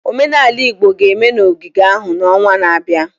Omenala Igbo ga-eme n'ogige ahụ n'ọnwa na-abịa.